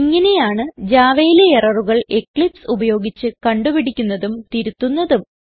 ഇങ്ങനെയാണ് javaയിലെ എററുകൾ എക്ലിപ്സ് ഉപയോഗിച്ച് കണ്ട് പിടിക്കുന്നതും തിരുത്തുന്നതും